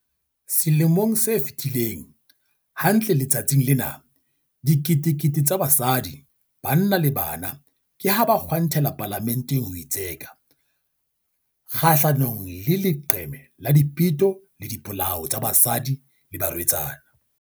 Selemo se fetileng, hantle letsatsing lena, diketekete tsa basadi, banna le bana ke ha ba kgwantela Palamenteng ho itseka kgahlanongle leqeme la dipeto le dipolao tsa basadi le barwetsana.